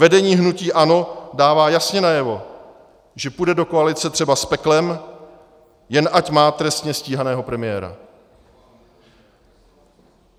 Vedení hnutí ANO dává jasně najevo, že půjde do koalice třeba s peklem, jen ať má trestně stíhaného premiéra.